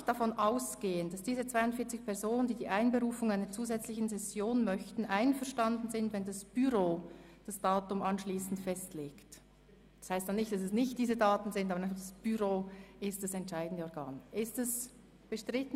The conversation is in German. Ich gehe davon aus, dass die 42 Personen, welche die Einberufung einer zusätzlichen Session verlangen, einverstanden sind, wenn die Daten abschliessend durch das Büro festgelegt werden.